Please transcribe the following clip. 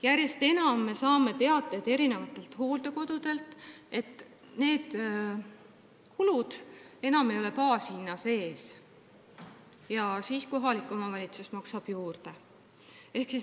Järjest enam saame teateid hooldekodudelt, et need kulud ei ole enam baashinna sees, ja siis kohalik omavalitsus maksab juurde.